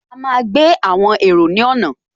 A máa gbé àwọn èrò ní ọ̀nà